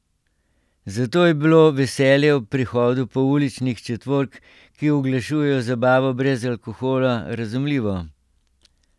Zato je bilo veselje ob prihodu pouličnih četvork, ki oglašujejo zabavo brez alkohola, razumljivo.